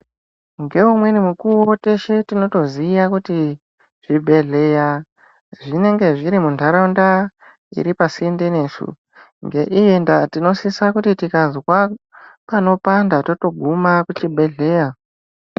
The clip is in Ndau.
Ngeumweni mukuwo teshe tinotoziya kuti zvibhedhleya zvinenge zviri muntaraunta iri pasinde nesu ngeiyi ndaa tinosisa kuti tikazwa panopanda totogima kuchibhedhleya.